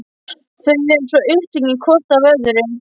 Þau eru svo upptekin hvort af öðru.